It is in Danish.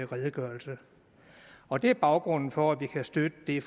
redegørelse og det er baggrunden for at vi kan støtte det